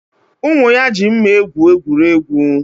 Ụmụ ya ji mma egwu egwuregwu